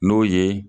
N'o ye